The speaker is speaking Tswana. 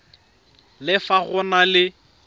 le fa go na le